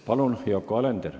Palun, Yoko Alender!